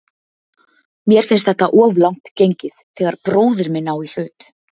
Mér finnst þetta of langt gengið þegar bróðir minn á í hlut.